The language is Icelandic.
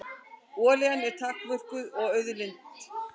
Olían er takmörkuð auðlind.